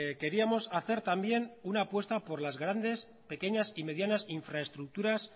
queríamos hacer también una apuesta por las grandes pequeñas y medianas infraestructuras